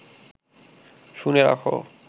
শুনে রাখ